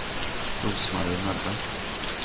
Rose-Marie Möller